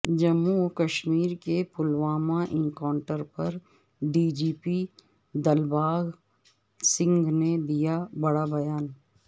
جموں وکشمیر کے پلوامہ انکاونٹر پر D G P Dilbagh Singh نے دیا بڑا بیان